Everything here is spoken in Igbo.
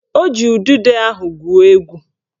O ji udude ahụ gwuo egwu